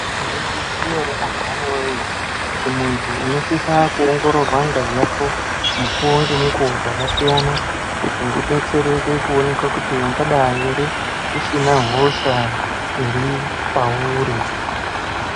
Maizviziya antu woye kuti muntu unosisa kuongororwa ngazi yako mukuwo ngemukuowo dzakasiyana kuti ubestereke kuoneka kuti ungadai here usina hosha hre iripauri .